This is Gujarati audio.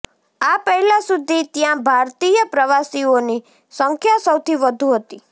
આ પહેલા સુધી ત્યા ભારતીય પ્રવાસીઓની સંખ્યા સૌથી વધુ હતી